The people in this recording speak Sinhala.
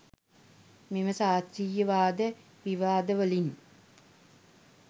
මෙම ශාස්ත්‍රිය වාද විවාදවලින්